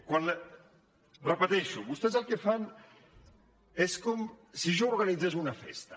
ho repeteixo vostès el que fan és com si jo organitzés una festa